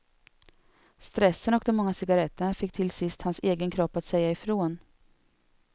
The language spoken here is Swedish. Stressen och de många cigaretterna fick till sist hans egen kropp att säga ifrån.